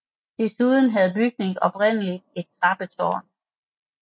Desuden havde bygningen oprindeligt et trappetårn